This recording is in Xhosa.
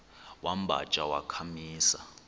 wamba tsha wakhamisa